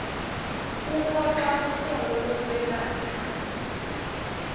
uhoxa kuhlolo lokwelapha